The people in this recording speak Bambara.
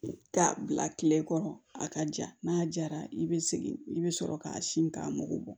K'a bila kile kɔrɔ a ka ja n'a jara i bɛ segin i bɛ sɔrɔ k'a sin k'a mugu bɔ